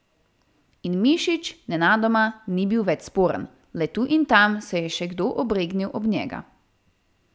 In Mišič nenadoma ni bil več sporen, le tu in tam se je še kdo obregnil ob njega.